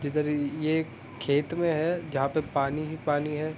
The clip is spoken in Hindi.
जिधर ये एक खेत में है जहाँ पे पानी ही पानी हैं।